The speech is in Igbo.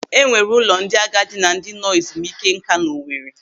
Enwere ụlọ ndị agadi na ndị nọ ezumike nká n'Owere.